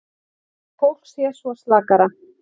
Fólk sé svona slakara.